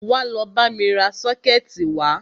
Wá lọ bámi ra sọ́kẹ̀tì wá!